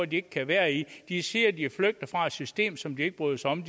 de ikke kan være i de siger at de er flygtet fra et system som de ikke bryder sig om